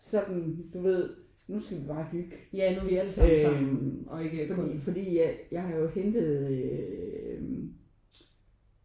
Sådan du ved: Nu skal vi bare hygge. Øh fordi jeg har jo hentet øh